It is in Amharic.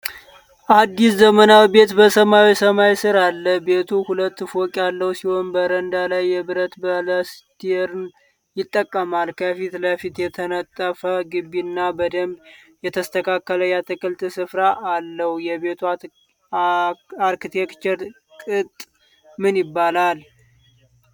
አዲስ ዘመናዊ ቤት በሰማያዊ ሰማይ ስር አለ። ቤቱ ሁለት ፎቅ ያለው ሲሆን በረንዳ ላይ የብረት ባላስቴርን ይጠቀማል። ከፊት ለፊት የተነጠፈ ግቢ እና በደንብ የተስተካከለ የአትክልት ስፍራ አለው። የቤቱ አርክቴክቸር ቅጥ ምን ይባላል?